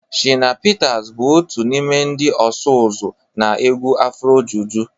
Shina Peters bụ otu n'ime ndị ọsụ ụzọ na egwu afrojuju